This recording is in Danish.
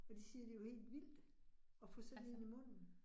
Og de siger, det var helt vildt at få sådan en i munden